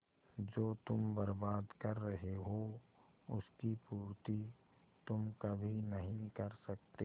जो तुम बर्बाद कर रहे हो उसकी पूर्ति तुम कभी नहीं कर सकते